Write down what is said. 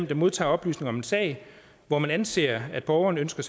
der modtager oplysninger om en sag hvor det anses at borgeren ønsker